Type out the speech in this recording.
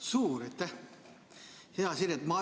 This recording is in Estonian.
Suur aitäh!